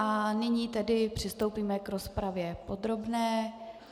A nyní tedy přistoupíme k rozpravě podrobné.